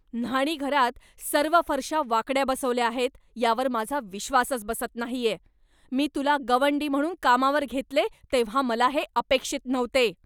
न्हाणीघरात सर्व फरशा वाकड्या बसवल्या आहेत यावर माझा विश्वासच बसत नाहीये! मी तुला गवंडी म्हणून कामावर घेतले तेव्हा मला हे अपेक्षित नव्हते.